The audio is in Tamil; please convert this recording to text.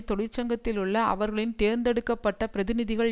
தொழிற்சங்கத்தில் உள்ள அவர்களின் தேர்ந்தெடுக்க பட்ட பிரதிநிதிகள்